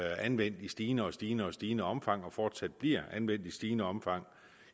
anvendt i stigende og stigende og stigende omfang og fortsat bliver anvendt i stigende omfang